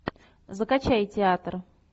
закачай театр